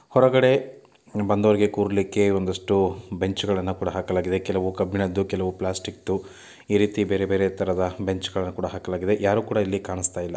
ಹೊರಗಡೆ ಬಂದು ಹೋಗೋರಿಗೆ ಕೂರಲಿಕ್ಕೆ ಒಂದಿಷ್ಟು ಬೆಂಚುಗಳನ್ನು ಕೂಡ ಹಾಕಲಾಗಿದೆ ಕೆಲವು ಕಬ್ಬಿಣದು ಕೆಲವು ಪ್ಲಾಸ್ಟಿಕ್‌ ಈ ರೀತಿ ಬೇರೆ ಬೇರೆ ತರದ ಬೆಂಚು ಕೂಡ ಹಾಕಲಾಗಿದೆ ಯಾರು ಕೂಡ ಇಲ್ಲಿ ಕಾಣಿಸ್ತಿಲ್ಲಾ.